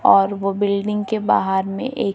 और वो बिल्डिंग के बाहर में एक--